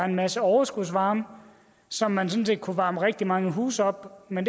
en masse overskudsvarme som man sådan set kunne varme rigtig mange huse op med